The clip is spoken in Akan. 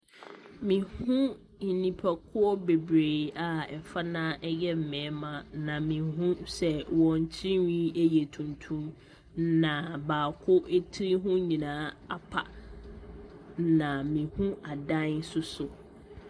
Mehu nnipakuo bebree a fa no ara yɛ mmarima, na mehu sɛ wɔn tirinwi yɛ tuntum, na baako tiri ho nyinaa apa, na mehu adan nso so.